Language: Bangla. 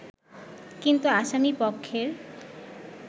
কিন্তু আসামী পক্ষের